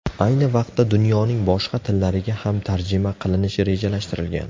Ayni vaqtda dunyoning boshqa tillariga ham tarjima qilinishi rejalashtirilgan.